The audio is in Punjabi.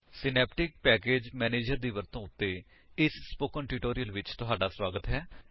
ਸਿਨੈਪਟਿਕ ਪੈਕੇਜ ਮੈਨੇਜਰ ਦੀ ਵਰਤੋਂ ਉੱਤੇ ਇਸ ਸਪੋਕਨ ਟਿਊਟੋਰਿਅਲ ਵਿੱਚ ਤੁਹਾਡਾ ਸਵਾਗਤ ਹੈ